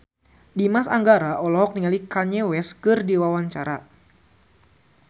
Dimas Anggara olohok ningali Kanye West keur diwawancara